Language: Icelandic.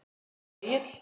Ert þú Egill?